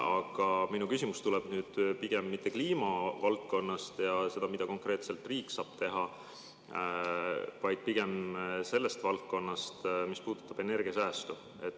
Aga minu küsimus tuleb pigem mitte kliimavaldkonnast ega ole mitte selle kohta, mida konkreetselt riik saab teha, vaid on pigem sellest valdkonnast, mis puudutab energiasäästu.